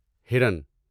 ہرن